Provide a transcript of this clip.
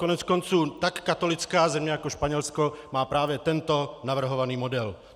Koneckonců tak katolická země jako Španělsko má právě tento navrhovaný model.